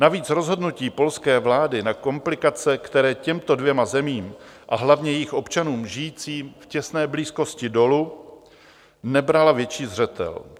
Navíc rozhodnutí polské vlády na komplikace, které těmto dvěma zemím a hlavně jejich občanům žijícím v těsné blízkosti dolu , nebrala větší zřetel.